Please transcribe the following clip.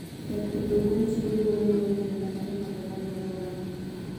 Yath pidho gwen chiwo thuolo ne ohelni matindo tindo manie alworano.